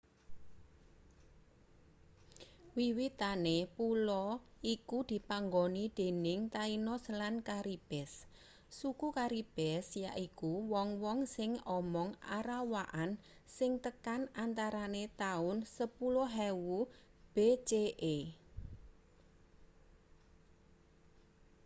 wiwitane pulo iku dipanggoni dening tainos lan caribes suku caribes yaiku wong-wong sing omong arawakan sing tekan antarane taun 10.000 bce